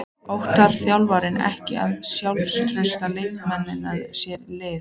Óttast þjálfararnir ekki að sjálfstraust leikmannsins sé lítið?